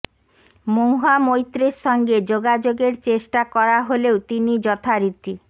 মহুয়া মৈত্রের সঙ্গে যোগাযোগের চেষ্টা করা হলেও তিনি যথারীতি